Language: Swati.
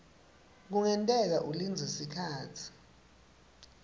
kungenteka ulindze sikhatsi